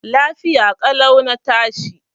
Lafiya ƙalau na tashi.